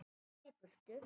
Labba í burtu.